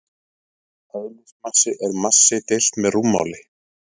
Eðlismassi er massi deilt með rúmmáli.